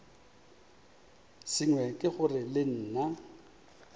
sengwe ke gore le nna